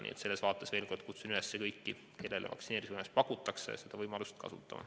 Nii et ma veel kord kutsun üles kõiki, kellele vaktsineerimise võimalust pakutakse, seda kasutama.